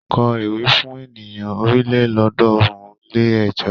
Kọ ewì fún ènìyàn ọ̀rìnlélọ́ọ̀ọ́dúnrún-lé-ẹ̀jọ.